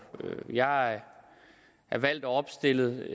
jeg er valgt og opstillet